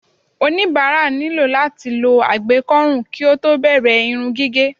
oníbàárà ni láti lo àgbékó̩rùn kí ó tó bẹ̀rẹ̀ Irun gígé